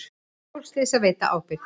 Stórslys að veita ábyrgð